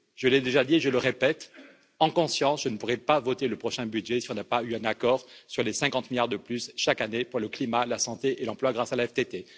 Je l'ai déjà dit et je le répète en conscience je ne pourrai pas voter le prochain budget si nous n'obtenons pas un accord sur les 50 milliards de plus chaque année pour le climat, la santé et l'emploi grâce à la TTF.